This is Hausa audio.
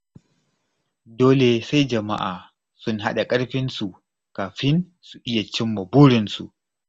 Dole sai jama'a sun haɗa karfinsu kafin su iya cimma burinsu.